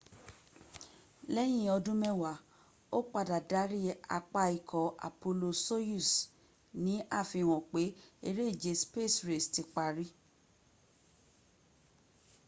lẹ́yìn ọdún mẹ́wáá ó padà darí apá ikọ̀ apollo-soyuz ní àfihàn pé eré ìje space race ti pari